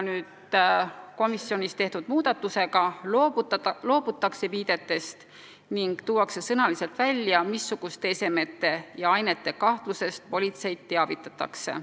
Komisjonis tehtud muudatusega loobutakse viidetest ning tuuakse sõnaliselt välja, missuguste esemete ja ainete kahtlusest politseid teavitatakse.